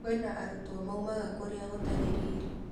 Kwĩna arutwo maumaga kũrĩa gũtarĩ rĩrĩ.